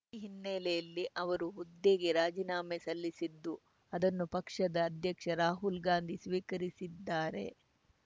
ಈ ಹಿನ್ನೆಲೆಯಲ್ಲಿ ಅವರು ಹುದ್ದೆಗೆ ರಾಜೀನಾಮೆ ಸಲ್ಲಿಸಿದ್ದು ಅದನ್ನು ಪಕ್ಷದ ಅಧ್ಯಕ್ಷ ರಾಹುಲ್‌ ಗಾಂಧೀ ಸ್ವೀಕರಿಸಿದ್ದಾರೆ